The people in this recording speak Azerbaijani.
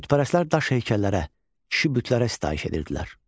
Bütpərəstlər daş heykəllərə, kişi bütlərə sitayiş edirdilər.